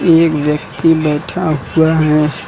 एक व्यक्ति बैठा हुआ है।